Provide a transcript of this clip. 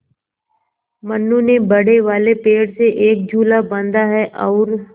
मनु ने बड़े वाले पेड़ से एक झूला बाँधा है और